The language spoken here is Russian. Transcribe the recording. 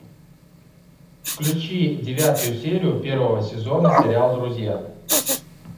включи девятую серию первого сезона сериал друзья